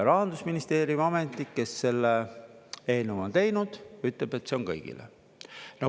Rahandusministeeriumi ametnik, kes selle eelnõu on teinud, ütleb, et see on kõigile.